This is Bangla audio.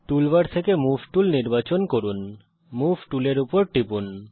টুল বার থেকে মুভ টুল নির্বাচন করুন মুভ টুলের উপর টিপুন